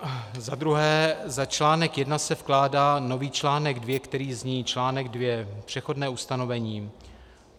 Za článek I se vkládá nový článek II, který zní: Článek II Přechodné ustanovení: